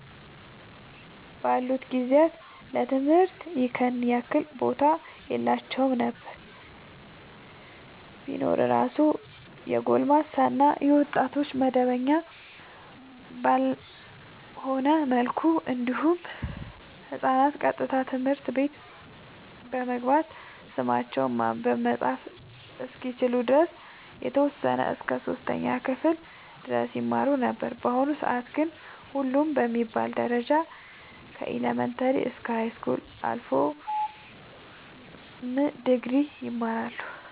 ባሉት ጊዜያት ለትምህርት ይኸን ያህል ቦታ የላቸውም ነበር ቢኖር እራሱ የጎልማሳ እና የወጣቶች መደበኛ ባልሆነ መልኩ እንዲሁም ህፃናት ቀጥታ ትምህርት ቤት በመግባት ስማቸውን ማንበብ መፃፍ እስከሚችሉ ድረስ የተወሰነ እስከ 3ኛ ክፍል ድረስ ይማሩ ነበር በአሁኑ ሰአት ግን ሁሉም በሚባል ደረጃ ከኢለመንታሪ እስከ ሀይስኩል አልፎም ድግሪ ይማራሉ